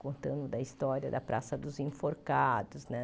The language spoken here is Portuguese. Contando da história da Praça dos Enforcados, né?